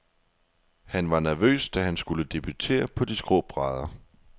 Han var nervøs, da han skulle debutere på de skrå brædder.